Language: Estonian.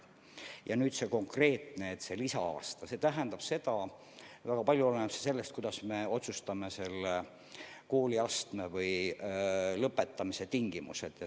Ja mis puutub nüüd sellesse konkreetsesse lisa-aastasse, siis väga palju oleneb sellest, kuidas me otsustame konkretse kooliastme lõpetamise tingimused.